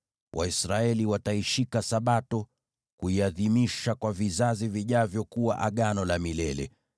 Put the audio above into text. Waisraeli wataishika Sabato, kuiadhimisha kwa vizazi vijavyo kuwa Agano la milele.